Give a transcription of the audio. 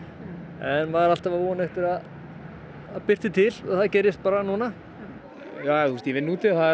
en maður er alltaf að vonast til að það birti til og það gerist bara núna ég vinn úti maður er